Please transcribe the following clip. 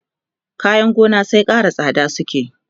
kayan gona sai Ƙara tsada suke